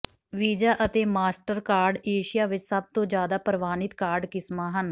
visa ਅਤੇ Mastercard Asia ਵਿਚ ਸਭਤੋਂ ਜਿਆਦਾ ਪ੍ਰਵਾਨਿਤ ਕਾਰਡ ਕਿਸਮਾਂ ਹਨ